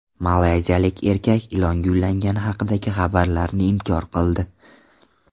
Malayziyalik erkak ilonga uylangani haqidagi xabarlarni inkor qildi.